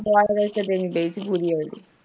ਦਵਾ ਵੇਚ ਕੇ ਦੇਣੀ ਚਾਹੀਦੀ ਪੂੜੀਆਂ ਚ।